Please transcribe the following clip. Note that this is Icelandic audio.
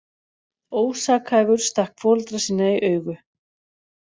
Ósakhæfur stakk foreldra sína í augu